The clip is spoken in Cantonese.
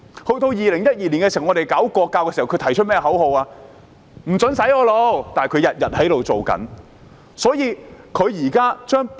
在2012年，我們想推行國教時，他們提出的口號是"不准洗我腦"，但他們卻一直在這樣做。